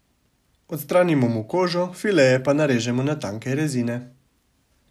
Odstranimo mu kožo, fileje pa narežemo na tanke rezine.